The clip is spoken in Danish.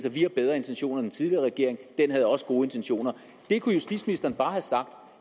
at vi har bedre intentioner end den tidligere regering den havde også gode intentioner det kunne justitsministeren bare har sagt